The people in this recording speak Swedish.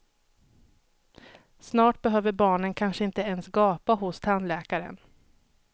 Snart behöver barnen kanske inte ens gapa hos tandläkaren.